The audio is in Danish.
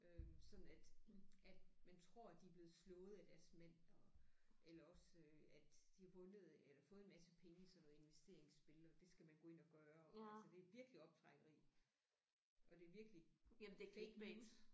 Øh sådan at at man tror at de er blevet slået af deres mænd og eller også at de har vundet eller fået en masse penge i sådan noget investeringsspil og det skal man gå ind og gøre altså det er virkelig optrækkeri og det er virkelig fake news